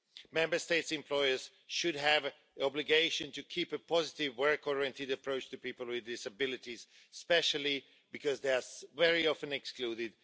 Member State employers should have the obligation to keep a positive work oriented approach to people with disabilities, especially because they are very often excluded.